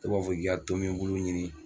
Dɔw b'a fɔ k'i ka tomi buluɲini